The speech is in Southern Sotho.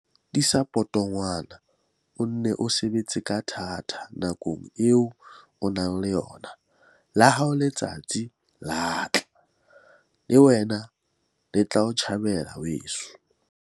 Tiisa potongwane, o nne o sebetse ka thata nakong eo o nang le yona. La hao letsatsi le a tla! Le wena le tla o tjhabela, weso!